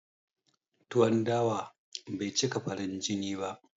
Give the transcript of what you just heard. Tuwon dawa bai cika farin jini ba